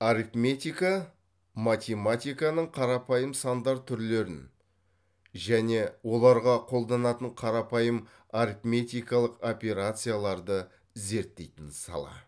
арифметика математиканың қарапайым сандар түрлерін және оларға қолданатын қарапайым арифметикалық операцияларды зерттейтін сала